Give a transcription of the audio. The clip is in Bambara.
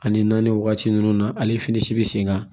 Ani naani wagati nunnu na ale fini si be sen kan